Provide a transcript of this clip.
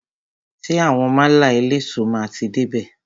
Ṣé àwọn málà eléso máa ti dé bè?